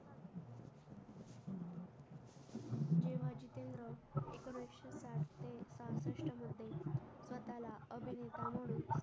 स्वतःला अभिनेता म्हणून